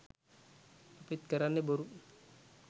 අපිත් කරන්නෙ බොරු